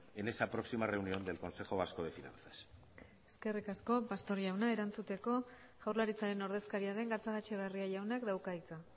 en esa próxima reunión del consejo vasco de finanzas eskerrik asko pastor jauna erantzuteko jaurlaritzaren ordezkaria den gatzagaetxebarria jaunak dauka hitza